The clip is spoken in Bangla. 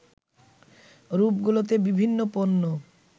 রূপগুলোতে বিভিন্ন পণ্য